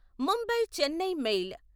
Mumbai Chennai mail